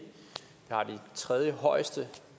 har det tredjehøjeste